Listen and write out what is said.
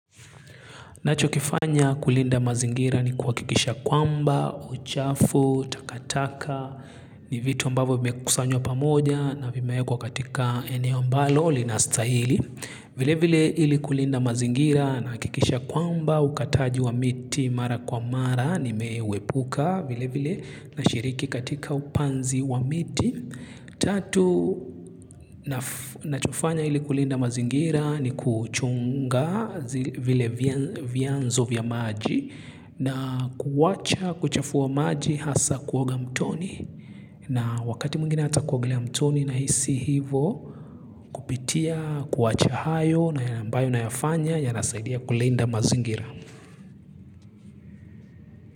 Nacho kifanya kulinda mazingira ni kuwakikisha kwamba, uchafu, takataka, ni vitu ambavo vimekusanywa pamoja na vimewekwa katika eneo ambalo, lina stahili. Vile vile ili kulinda mazingira nahakikisha kwamba, ukataji wa miti mara kwa mara, nimewepuka vile vile nashiriki katika upanzi wa miti. Tatu, nachofanya ili kulinda mazingira ni kuchunga vile vianzo vya maji na kuwacha kuchafua maji hasa kuoga mtoni na wakati mwingine hata kuogelea mtoni na hisi hivo kupitia kuwacha hayo na ambayo unayofanya yanasaidia kulinda mazingira.